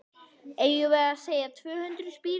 Eigum við að segja tvö hundruð spírur?